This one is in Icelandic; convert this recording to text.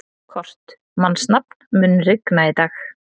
Kort (mannsnafn), mun rigna í dag?